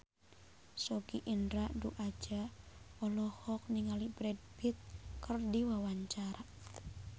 Sogi Indra Duaja olohok ningali Brad Pitt keur diwawancara